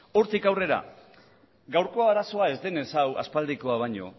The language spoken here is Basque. hortik aurrera gaurko arazoa ez denez hau aspaldikoa baino